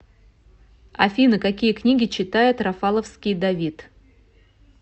афина какие книги читает рафаловский давид